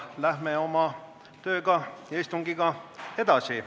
Läheme aga oma töö ja istungiga edasi.